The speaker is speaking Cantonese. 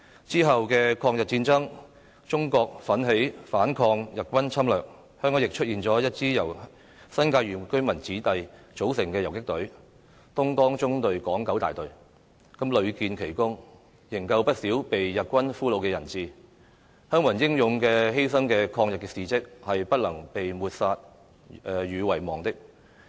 之後的抗日戰爭，中國奮起反抗日軍侵略，香港亦出現一支由新界原居民子弟組成的游擊隊——"東江縱隊港九大隊"，屢建奇功，營救不少被日軍俘虜的人質，鄉民英勇犧牲的抗日事蹟是不能被抹殺和遺忘的。